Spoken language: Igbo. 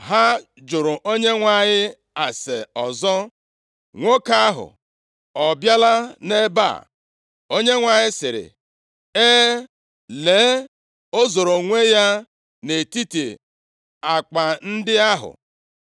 Ha jụrụ Onyenwe anyị ase ọzọ, “Nwoke ahụ ọ bịala nʼebe a?” Onyenwe anyị sịrị, “E, Lee, o zoro onwe ya nʼetiti akpa ndị ahụ.”